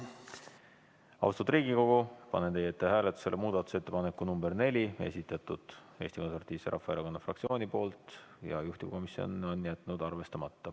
Austatud Riigikogu, panen teie ette hääletusele muudatusettepaneku nr 4, esitatud Eesti Konservatiivse Rahvaerakonna fraktsiooni poolt ja juhtivkomisjon on jätnud arvestamata.